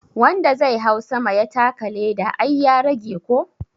Wanda zai hau sama ya taka leda ai ya rage ko?